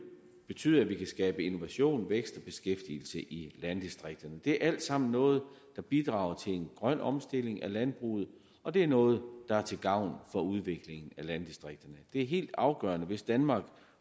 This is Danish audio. betyde at vi kan skabe innovation vækst og beskæftigelse i landdistrikterne det er alt sammen noget der bidrager til en grøn omstilling af landbruget og det er noget der er til gavn for udvikling af landdistrikterne det er helt afgørende hvis danmark